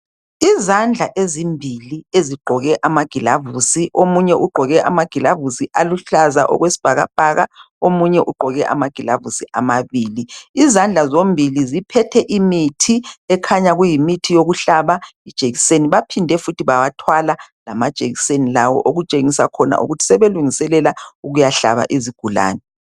Izandla ezimbili ezigqoke amagilavusi, omunye ugqoke amagilavusi aluhlaza okwesibhakabhaka omunye ugqoke amagilavusi amabili. Izandla zombili ziphethe imithi ekhanya kuyimithi yokuhlaba ijekiseni baphinde futhi bawathwala lamajekiseni lawo okutshengisa khona ukuthi sebelungiselela ukuyahlaba izigulani.